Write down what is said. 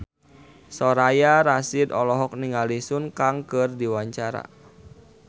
Soraya Rasyid olohok ningali Sun Kang keur diwawancara